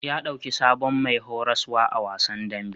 Ya ɗauki sabon mai horaswa a wasan dambe.